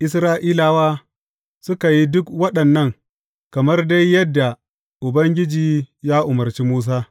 Isra’ilawa suka yi duk waɗannan kamar dai yadda Ubangiji ya umarci Musa.